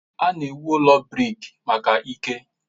A na-ewu ụlọ brik maka ike.